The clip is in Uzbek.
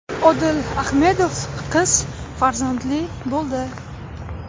Odil Ahmedov qiz farzandli bo‘ldi.